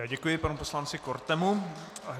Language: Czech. Já děkuji panu poslanci Kortemu.